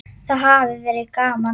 Það hafi verið gaman.